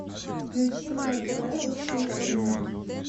включи мне на тв русский экстрим